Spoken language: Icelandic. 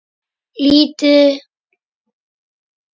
Líta við.